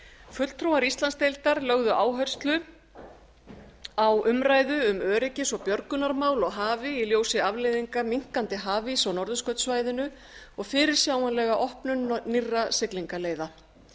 fulltrúar íslandsdeildar lögðu áherslu á umræðu um öryggis og björgunarmál á hafi í ljósi afleiðinga minnkandi hafíss á norðurskautssvæðinu og fyrirsjáanlegrar opnunar nýrra siglingaleiða